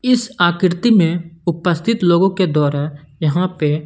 इस आकृति में उपस्थित लोगों के द्वारा यहां पे--